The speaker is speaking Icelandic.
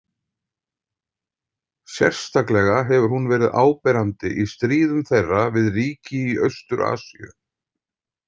Sérstaklega hefur hún verið áberandi í stríðum þeirra við ríki í Austur- Asíu.